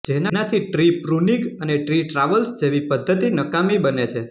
જેનાથી tree pruning અને tree traversal જેવિ પ્ધતિ નકામિ બને છે